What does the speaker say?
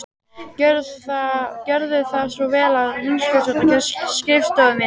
Gjörðu þá svo vel að hunskast út af skrifstofunni minni.